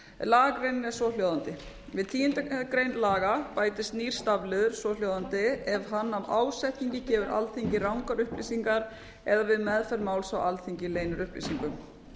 lagagreinin er svohljóðandi við tíundu grein laga bætist nýr stafliður svohljóðandi ef hann af ásetningi gefur alþingi rangar upplýsingar eða við meðferð máls á alþingi leynir upplýsingum